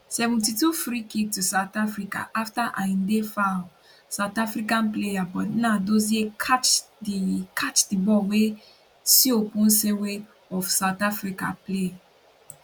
72 freekick to south africa afta ayinde foul sout african player but nnadozie catch di catch di ball wey seoponsenwe of south africa play